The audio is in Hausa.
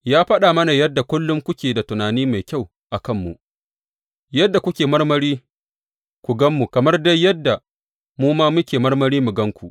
Ya faɗa mana yadda kullum kuke da tunani mai kyau a kanmu, yadda kuke marmari ku gan mu, kamar dai yadda mu ma muke marmari mu gan ku.